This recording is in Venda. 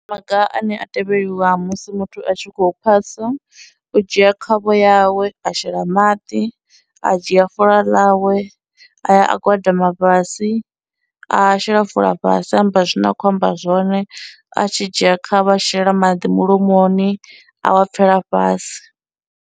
Maga ane a tevheliwa musi muthu a tshi khou phasa, u dzhia khavho yawe a shela maḓi, a dzhia fola ḽawe a ya a gwadama fhasi, a shela fola fhasi a amba zwine a khou amba zwone a tshi dzhia khavho a shela maḓi mulomoni a wa pfhela fhasi.